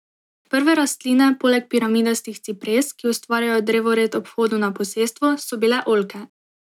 Prve rastline poleg piramidastih cipres, ki ustvarjajo drevored ob vhodu na posestvo, so bile oljke.